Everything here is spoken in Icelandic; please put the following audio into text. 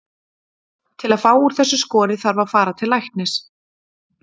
Til að fá úr þessu skorið þarf að fara til læknis.